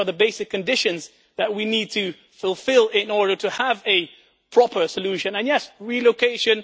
These are the basic conditions that we need to fulfil in order to have a proper solution and, yes, relocation.